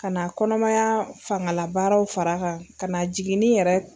Ka na kɔnɔmaya fangalabaraw far'a kan ka na jiginnin yɛrɛ